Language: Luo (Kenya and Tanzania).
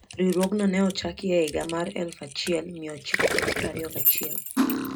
Riwruogno ne ochaki e higa mar 1921.